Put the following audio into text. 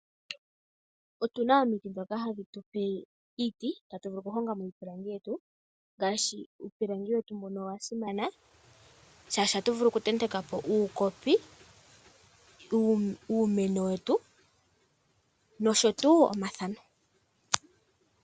Otuna omiti dhoka hadhi tupe iiti, atu vulu oku honga mo iipilangi yetu. Uupilangi wetu mbono owa simana shaashi atu vulu oku tenteka po uukopi , uumeno wetu nosho tuu omathano.